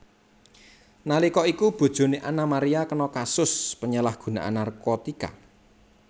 Nalika iku bojone Annaa Maria kena kasus penyalahgunaan narkotika